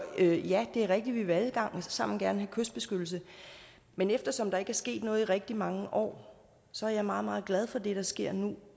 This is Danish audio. ja det er rigtigt at vi alle sammen gerne kystbeskyttelse men eftersom der ikke er sket noget i rigtig mange år så er jeg meget meget glad for det der sker nu